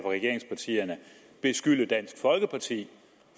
regeringspartierne beskylde dansk folkeparti